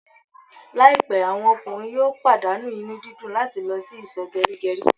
Laipẹ àwọn ọkùnrin yóò pàdánù inú dídùn làti lọ sì iso gerigeri